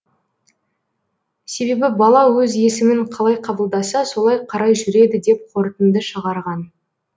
себебі бала өз есімін қалай қабылдаса солай қарай жүреді деп қортынды шығарған